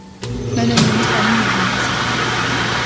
Mən ömrümü sənin yolunda sərf elədim.